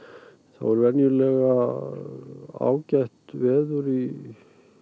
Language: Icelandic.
er venjulega ágætt veður í